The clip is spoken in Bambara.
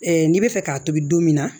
n'i bɛ fɛ k'a tobi don min na